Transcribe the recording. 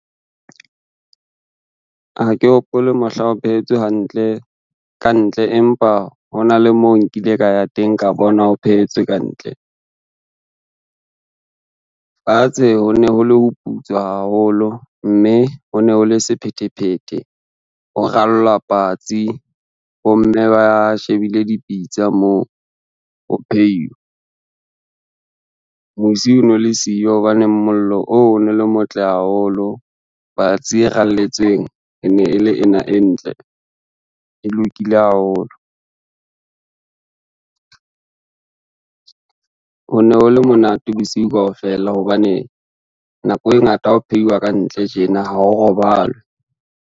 Ha ke hopole mohla ho phetswe hantle kantle, empa hona le mo nkile ka ya teng ka bona ho phehetse kantle. Fatshe ho ne ho le ho putswa haholo mme ho ne ho le sephethephethe ho ralla patsi, bomme ba shebile dipitsa moo ho phehiwa. Musi o no le siyo hobaneng mollo oo o no le motle haholo patsi e ralletsweng ene e le ena e ntle e lokile haholo. Ho ne ho le monate bosiu kaofela hobane nako e ngata ha o phehiwa ka ntle tjena ha o robalwe.